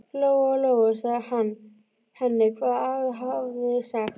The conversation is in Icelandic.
Lóa Lóa sagði henni hvað afi hafði sagt.